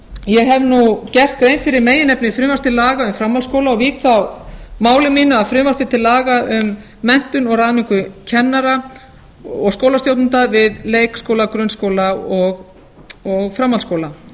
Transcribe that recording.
ég hef nú gert grein fyrir meginefni frumvarps til laga um framhaldsskóla og vík þá máli mínu að frumvarpi til laga um menntun og ráðningu kennara og skólastjórnenda við leikskóla grunnskóla og framhaldsskóla